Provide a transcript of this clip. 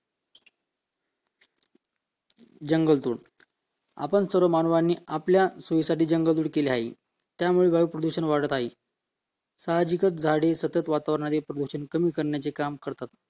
जंगल तोड आपण सर्व माणसांनी आपल्या सोयीसाठी जंगल तोड केले आहे त्यामुळे वायू प्रदूषण वाढत आहे साहजिकच झाडे वातावरणातील प्रदूषण कमी करण्याचे काम करतात व